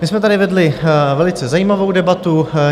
My jsme tady vedli velice zajímavou debatu.